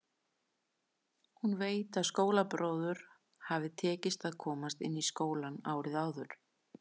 Hún veit að skólabróður hafði tekist að komast inn í skólann árið áður.